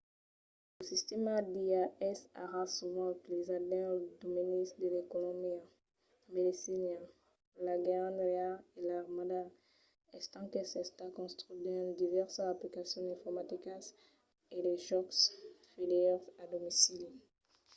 lo sistèma d’ia es ara sovent utilizat dins los domenis de l’economia la medecina l’engenhariá e l’armada estent qu'es estat construch dins divèrsas aplicacions informaticas e de jòcs vidèo a domicili